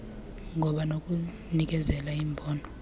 ngoba nokunikezela imbono